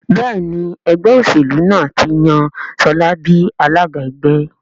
Béèni Ẹgbẹ́ òṣèlú náà tí yàn Shola bí alága ẹgbẹ́.